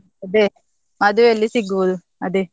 ಅದೇ ಮದ್ವೆಯಲ್ಲಿ ಸಿಗ್ಬೋದು, ಅದೇ.